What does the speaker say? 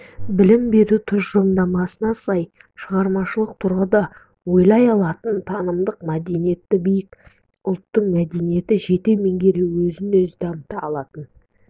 білім беру тұжырымдамасына сай шығармашылық тұрғыда ойлай алатын танымдық мәдениеті биік ұлттық мәдениетті жете меңгерген өзін-өзі дамыта алатын